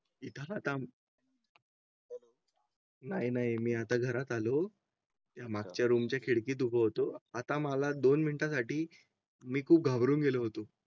इतर ? नाही नाही मी आता घरात आलो यामागच्या रूमच्या खिडकीत उभा होतो. आता मला दोन मिनिटंसाठी मी खूप घाबरून गेलो होतो.